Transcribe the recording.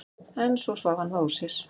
En svo svaf hann það úr sér.